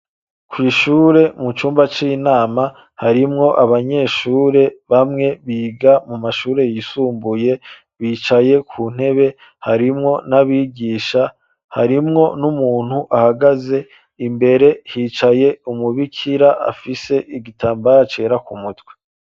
Kwishure mucumba cinama harimwo abanyeshure bamwe biga mu mashure yisumbuye bicaye kuntebe harimwo n'abigisha, harimwo n'umuntu ahagaze, imbere hicaye umubikira afise igitamabara cera kumutwe.